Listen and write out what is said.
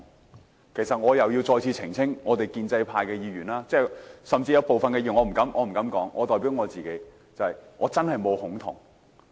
我必須再次澄清，我們建制派甚至有部分議員——我不敢說別人，我只代表自己——我真的沒有"恐同"。